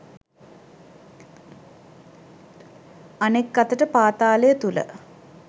අනෙක් අතට පාතාලය තුල